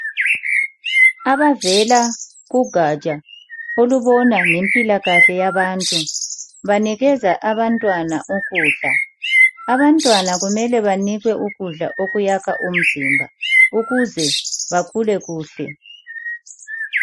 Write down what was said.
Abavela kugatsha olubona ngempilakahle yabantu banikeza abantwana ukudla. Abantwana kumele banikwe ukudla okwakha umzimba ukuze bakhule kuhle.